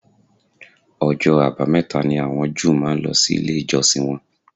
Ọjọ́ àbámẹ̀ta ni àwọn Júù máa ń lọ ilé ìjọsìn wọn